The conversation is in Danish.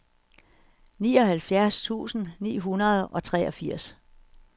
nioghalvfjerds tusind ni hundrede og treogfirs